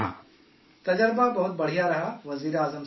تجربہ، بہت اچھا رہا وزیر اعظم صاحب